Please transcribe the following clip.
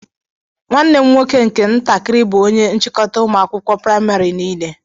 Nwanne m nwoke nke ntakiri bú onye nchikota ụmụ akwụkwọ praịmarị nile.